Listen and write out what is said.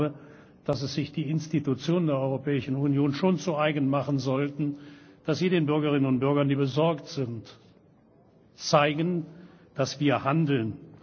Ich glaube, dass es sich die Institutionen der Europäischen Union schon zu eigen machen sollten, dass sie den Bürgerinnen und Bürgern, die besorgt sind, zeigen, dass wir handeln.